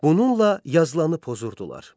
Bununla yazılanı pozurdular.